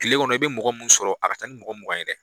Kile kɔnɔ i bɛ mɔgɔ mun sɔrɔ a ka ca ni mɔgɔ mugan ye dɛ.